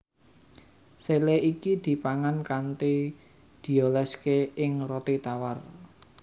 Sele iki dipangan kanthi dioléské ing roti tawar